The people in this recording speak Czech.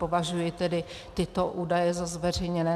Považuji tedy tyto údaje za zveřejněné.